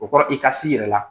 O kɔrɔ i ka s'i yɛrɛ la.